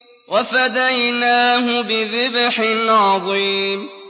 وَفَدَيْنَاهُ بِذِبْحٍ عَظِيمٍ